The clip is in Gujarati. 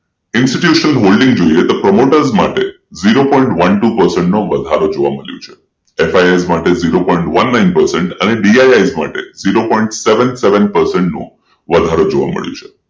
ઈન્સ્ટીટ્યુશન હોલ્ડિંગ જોઈએ તો પ્રમોટર્સ માટે zero point one two percent વધારે જોવા મળ્યો છે FIS માટે zero point one અને DISzero point seven seven percent નું વધારે જોવા મળ્યું છે